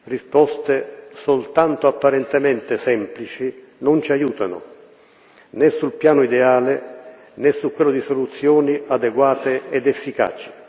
Risposte soltanto apparentemente semplici non ci aiutano, né sul piano ideale, né su quello di soluzioni adeguate ed efficaci.